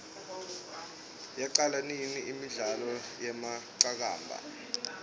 yaqala nini imidlalo yeqakamba